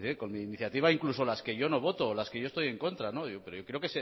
con mi iniciativa incluso las que yo no voto las que yo estoy en contra pero creo